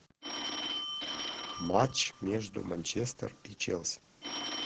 матч между манчестер и челси